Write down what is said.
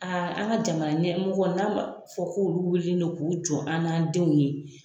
an ka jamana ɲɛmɔgɔ n'a fɔla k'olu wulila k'u jɔ an n'an denw ye.